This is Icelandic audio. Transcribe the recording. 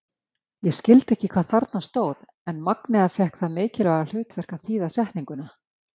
Ég skildi ekki hvað þarna stóð en Magnea fékk það mikilvæga hlutverk að þýða setninguna.